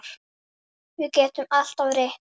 Við getum alltaf reynt.